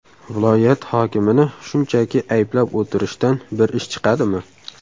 Viloyat hokimini shunchaki ayblab o‘tirishdan bir ish chiqadimi?